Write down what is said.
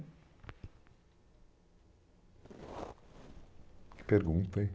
Que pergunta, hein?